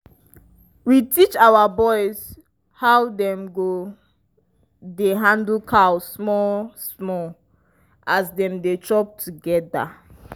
we teach our boys how dem go dey handle cow small-small as dem dey chop together